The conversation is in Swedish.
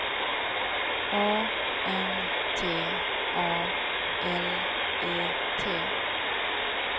A N T A L E T